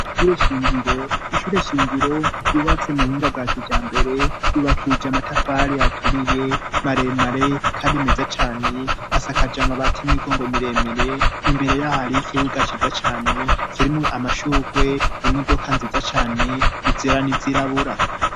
Isure shingiro ishure shingiro yubatse mu buhinga bwa kija mbere yubakije amatafari aturiye maremare kari meza cane asakaja amabati 'imigongo miremire imbere y'ahari y'ikibuga ciza cane kirimwo amashurwe imodoka nziza cane izeranizirabura.